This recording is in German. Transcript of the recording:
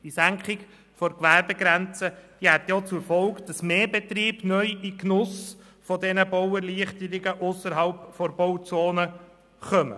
Die Senkung der Gewerbegrenze hätte auch zur Folge, dass mehr Betriebe neu in den Genuss dieser Bauerleichterungen ausserhalb der Bauzonen kämen.